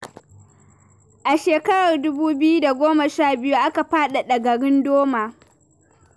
A shekarar dubu biyu da goma sha biyu aka faɗaɗa garin Doma.